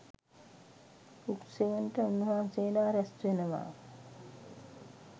රුක්සෙවණට උන්වහන්සේලා රැස් වෙනවා.